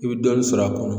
I bɛ dɔɔnin sɔrɔ a kɔnɔ